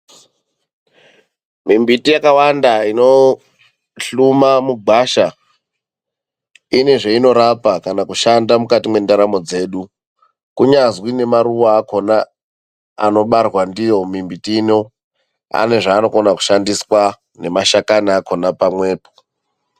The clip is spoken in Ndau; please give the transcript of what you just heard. Mumbuti yakawanda inohluma mugwasha inezvainorapa kana kushanda mukati mendaramo dzedu. Kunyazi nemaruwa akona anobarwa ndiyo mimbuti ino ane zvaanokona kushandiswa, nemashakani akona pamwepo.